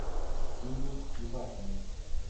ксении ивакиной